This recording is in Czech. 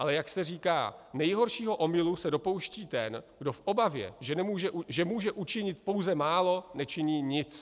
Ale jak se říká, nejhoršího omylu se dopouští ten, kdo v obavě, že může učinit pouze málo, nečiní nic.